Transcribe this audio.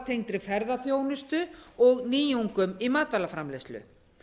sjávartengdri ferðaþjónustu og nýjungum í matvælaframleiðslu